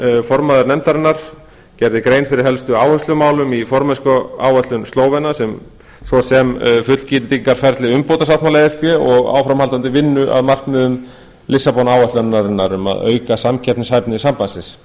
kokalj formaður nefndarinnar gerði grein fyrir helstu áherslumálum í formennskuáætlun slóvena svo sem fullgildingarferli umbótasáttmála e s b og áframhaldandi vinnu að markmiðum lissabon áætlunarinnar um að auka samkeppnishæfni sambandsins